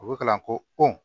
U bɛ kalan ko pɔn